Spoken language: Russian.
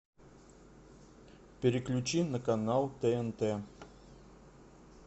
переключи на канал тнт